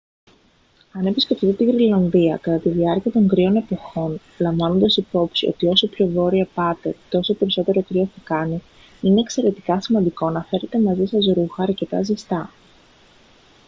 αν επισκεφτείτε τη γροιλανδία κατά τη διάρκεια των κρύων εποχών λαμβάνοντας υπόψη ότι όσο πιο βόρεια πάτε τόσο περισσότερο κρύο θα κάνει είναι εξαιρετικά σημαντικό να φέρετε μαζί σας ρούχα αρκετά ζεστά